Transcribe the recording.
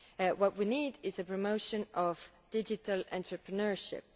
What we need is the promotion of digital entrepreneurship.